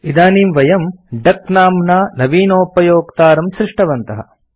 इदानीं वयम् डक नाम्ना नवीनोपयोक्तारं सृष्टवन्तः